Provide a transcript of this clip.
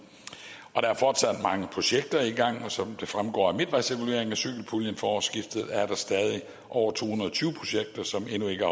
der er fortsat mange projekter i gang og som det fremgår af midtvejsevalueringen af cykelpuljen fra årsskiftet er der stadig over to hundrede og tyve projekter som endnu ikke